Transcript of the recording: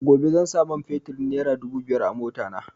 Gobe zan sa man feturin nera dubu biyar a mota na